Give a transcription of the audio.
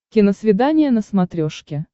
киносвидание на смотрешке